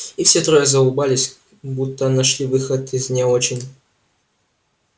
и все трое заулыбались так будто нашли выход из не очень